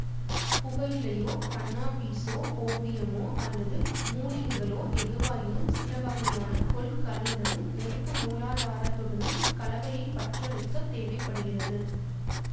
புகையிலையோ கன்னாபீஸோ ஓபியமோ அல்லது மூலிகைகளோ எதுவாயினும் சில வகையான கொள்கலனுடனும் நெருப்பு மூலாதாரத்துடனும் கலவையைப் பற்றவைக்கத் தேவை படுகிறது